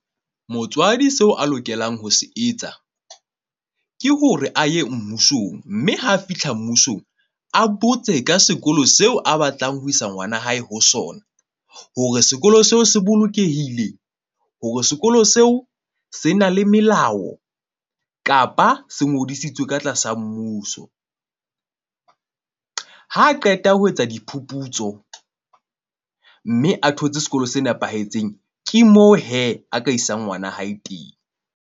Motswadi seo a lokelang ho se etsa ke hore a ye mmusong, mme ha a fihla mmusong, a botse ka sekolo seo a batlang ho isa ngwana hae ho sona. Hore sekolo seo se bolokehile hore sekolo seo se na le melao kapa se ngodisitswe ka tlasa mmuso. Ha qeta ho etsa diphuputso mme a thotse sekolo se nepahetseng. Ke moo a ka isang ngwana hae teng.